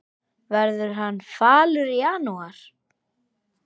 Verður hann falur í janúar?